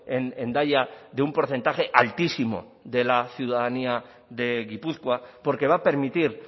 en hendaya de un porcentaje altísimo de la ciudadanía de gipuzkoa porque va a permitir